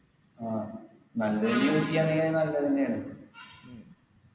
ആ നല്ലെന് use ചെയ്യാണെങ്കി നല്ലതെന്നെയാണ്